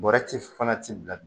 Bɔrɛ ti fana ti bila